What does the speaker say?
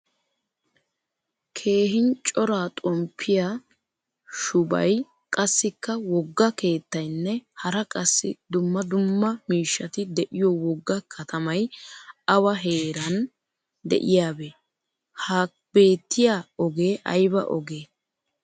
Kehhin cora xomppiyaa shubay qassikka wogga keettaynne hara qassi dumma dumma miishshati deiyo wogga katamay awa heeran de'iyabe? Ha beettiya oge ayba oge?